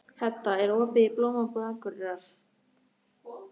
Hedda, er opið í Blómabúð Akureyrar?